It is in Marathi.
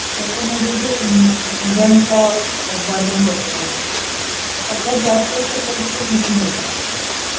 त्याच्यामध्ये जे इंधनच बर्निंग होत म्हणू शकतो. सगळ्यात जास्त तर पोल्युशन तिथून होत.